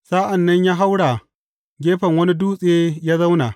Sa’an nan ya haura gefen wani dutse ya zauna.